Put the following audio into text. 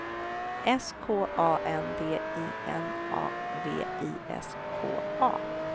S K A N D I N A V I S K A